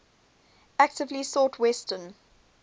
actively sought western